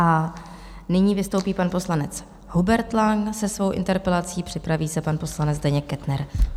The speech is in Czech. A nyní vystoupí pan poslanec Hubert Lang se svou interpelací, připraví se pan poslanec Zdeněk Kettner.